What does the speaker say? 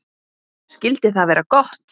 Skyldi það vera gott?